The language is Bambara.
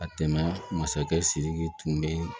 Ka tɛmɛ masakɛ siriki tun bɛ